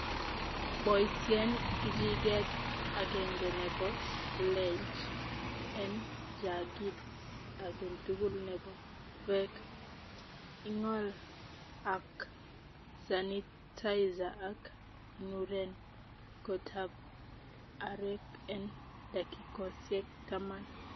Boisien kijiget agenge nebo bleach en jagit age tugul nebo beek. ing'ol ak sanitizer ak inuren kotab areek en dakikosiek taman.